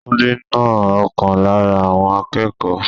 Túndé na ọ̀kan lára àwọn akẹ́kọ̀ọ́.